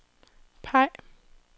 peg